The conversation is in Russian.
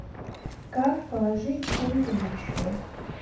как положить деньги на счет